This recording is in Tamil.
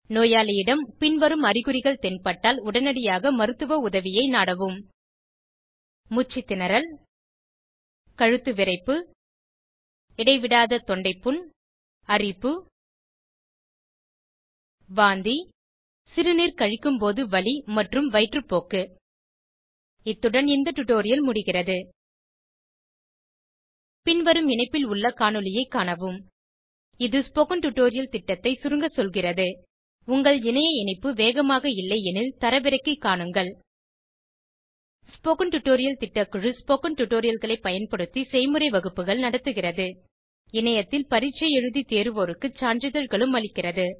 நோயளியிடம் பின்வரும் அறிகுறிகள் தென்பட்டால் உடனியாக மருத்துவ உதவியை நாடவும் மூச்சு திணறல் கழுத்து விறைப்பு இடைவிடாத தொண்டை புண் அரிப்பு வாந்தி சிறுநீர் கழிக்கும்போது வலி மற்றும் வயிற்றுப்போக்கு இத்துடன் இந்த டுடோரியல் முடிகிறது பின்வரும் இணைப்பில் உள்ள காணொளியைக் காணவும் இது ஸ்போகன் டுடோரியல் திட்டத்தை சுருங்க சொல்கிறது உங்கள் இணைய இணைப்பு வேகமாக இல்லையெனில் தரவிறக்கி காணவும் ஸ்போகன் டுடோரியல் திட்டக்குழு ஸ்போகன் டுடோரியல்களை பயன்படுத்தி செய்முறை வகுப்புகள் நடத்துகிறது இணையத்தில் பரீட்சை எழுதி தேர்வோருக்கு சான்றிதழ்களும் அளிக்கிறது